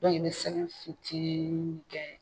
i bɛ sɛgɛn fitini kɛ